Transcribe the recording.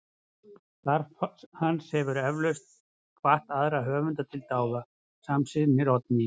Starf hans hefur eflaust hvatt aðra höfunda til dáða, samsinnir Oddný.